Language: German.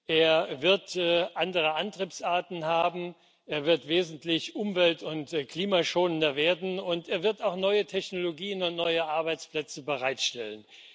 Er wird andere Antriebsarten haben, er wird wesentlich umwelt und klimaschonender werden und er wird auch neue Technologien und neue Arbeitsplätze bereitstellen.